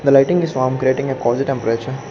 the lighting is warm creating a cozy temperature